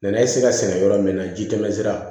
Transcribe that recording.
Nɛnɛ be se ka sɛnɛ yɔrɔ min na ji tɛmɛsira